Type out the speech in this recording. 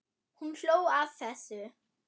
Hún hló að þessu.